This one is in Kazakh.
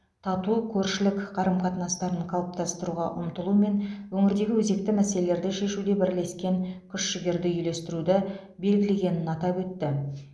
тату көршілік қарым қатынастарын қалыптастыруға ұмтылу мен өңірдегі өзекті мәселелерді шешуде бірлескен күш жігерді үйлестіруді белгілегенін атап өтті